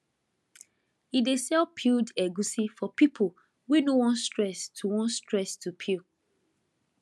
e dey sell peeled egusi for people wey no wan stress to wan stress to peel